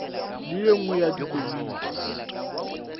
le ye nngwe ya dikomiti